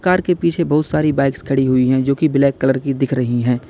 दीवार के पीछे बहुत सारी बाइकस खड़ी हुई हैं जो कि ब्लैक कलर की दिख रही हैं।